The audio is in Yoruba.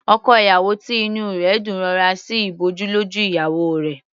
Ọkọ ìyàwó tí inú rẹ̀ dùn rọra sí ìbòjú lójú ìyàwó rẹ̀.